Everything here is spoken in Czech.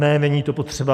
Ne, není to potřeba.